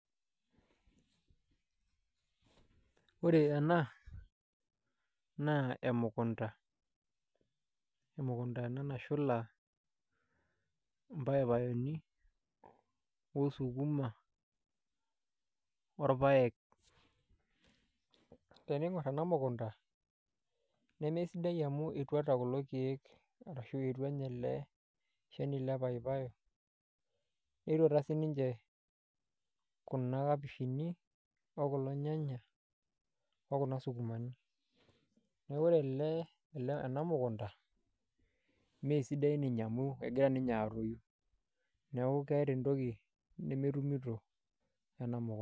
Ore ena naa emukunta nashula mpaipaeni osukuma orpaek, teniingorr ena mukunta nemesidai amu etuata kulo keek ashu etua ninye ele shani le papai netuatua siinche kuna kapishi okulo nyanya okuna sukumani neeku ore ele ena mukunta meesidai ninye amu egira ninye atoyu neeku keeta entoki nemetumito ena mukunta.